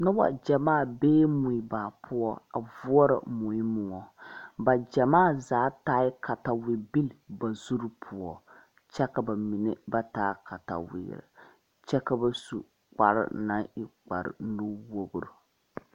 Nuba jamaa bee mui baapou a vuoro mui mou ba jamaa zaa taa katawei bilii ba zuri pou kye ka ba mene ba taa katawiiri kye ka ba su kpare nang e kpare nu wɔgre.